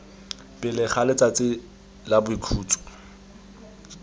pele ga letsatsi la boikhutso